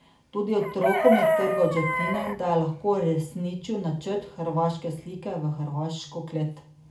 Tudi otrokom je trgal od žepnine, da je lahko uresničil načrt Hrvaške slike v hrvaško klet.